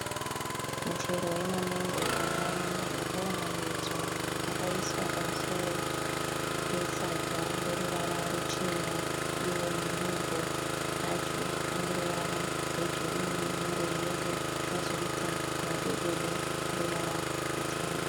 Muchero yemamengo yakawanda yakaunganidzwa. Yakaiswa pamusoro pesaga reruvara ruchena. Iwo mamengo acho ane ruvara rwegirinhi nerweyero kwozoita madododo eruvara rutema.